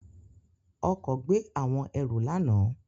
Ọkọ gbe awọn ẹru lana.